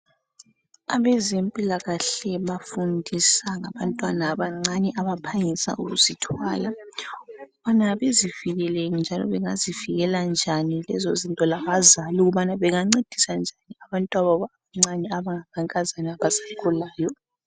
Abezempilakahle bafundisa ngabantwana abancane, abaphangisa ukuzithwala. Ukubana bezivikele, njalo bangazivikela njani lezizinto, njalo labazali ukuthi bangancedisa njani abantwababo abancane, abangamankazana. Abasakhulayo.